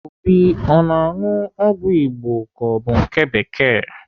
Obi ọ na-aṅụ ọgwụ Igbo ka ọ bụ nke bekee?